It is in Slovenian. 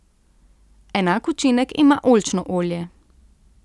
Enak učinek ima oljčno olje.